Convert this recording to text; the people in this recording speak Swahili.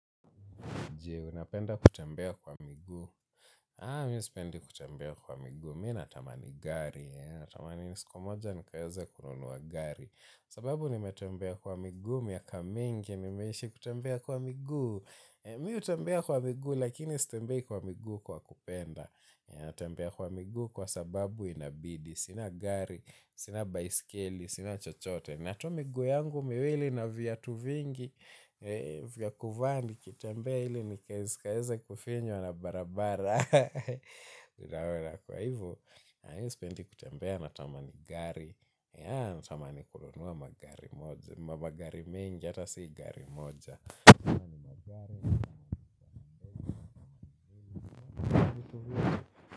Je, unapenda kutembea kwa miguu? Haa, mi sipendi kutembea kwa miguu. Mi natamani gari. Natamani siku moja nikaweze kununua gari. Sababu nimetembea kwa miguu. Miaka mingi, mimeishi kutembea kwa miguu. Mi hutembea kwa miguu, lakini sitembei kwa miguu kwa kupenda. Tembea kwa miguu kwa sababu inabidi. Sina gari, sina baiskeli, sina chochote. Na tu miguu yangu miwili na viatu vingi, vya kuvaa nikitembea ili nisikaeze kufinywa na barabara. Kwa hivo na mimi sipendi kutembea natamani gari. Ya natamani kununua magari mengi ata si gari moja.